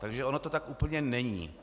Takže ono to tak úplně není.